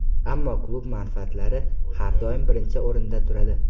Ammo klub manfaatlari har doim birinchi o‘rinda turadi.